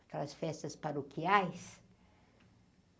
Aquelas festas paroquiais?